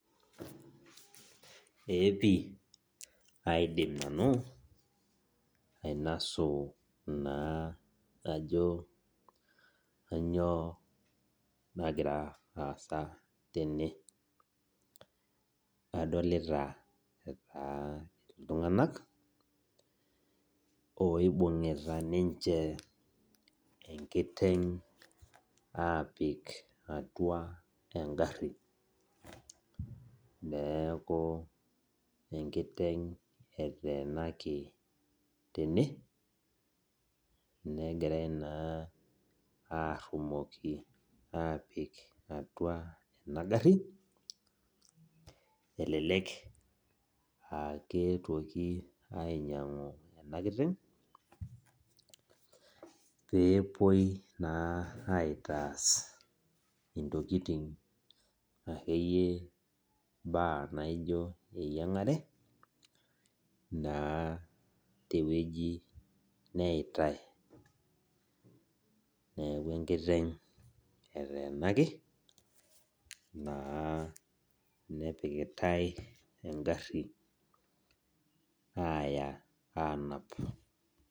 Ee pi, aidim nanu ainasu naa ajo kanyioo nagira aasa tene. Adolita taa iltung'anak, oibung'ita ninche enkiteng' apik atua egarri. Neeku enkiteng' eteenaki tene, negirai naa arrumoki apik atua ena garri, elelek akeetuoki ainyang'u ena kiteng', pepoi naa aitas intokiting akeyie imbaa naijo eyiang'are, naa tewueji neitai. Neeku enkiteng' eteenaki, naa nepikitai egarri aya anap.